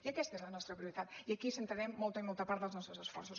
i aquesta és la nostra prioritat i aquí centrarem molta i molta part dels nostres esforços